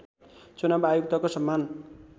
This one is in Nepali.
चुनाव आयुक्तको सम्मान